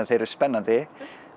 eru spennandi